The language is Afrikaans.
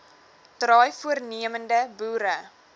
draai voornemende boere